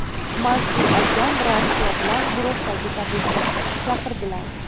Mansur akam, ratsiya bilan guruhdagi tabibni chaqirdilar.